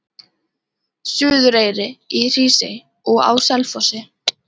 Suðureyri, í Hrísey og á Selfossi.